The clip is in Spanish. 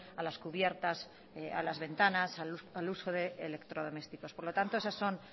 a las cubiertas a las ventanas al uso de electrodomésticos por lo tanto esos son